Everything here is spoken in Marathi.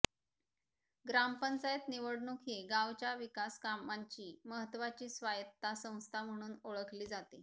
ग्रामपंचायत निवडणूक ही गावाच्या विकासकामांची महत्वाची स्वायत्ता संस्था म्हणून ओळखली जाते